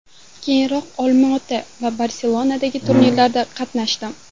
Keyinroq Olmaota va Barselonadagi turnirlarda qatnashdim.